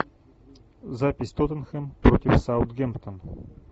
запись тоттенхэм против саутгемптон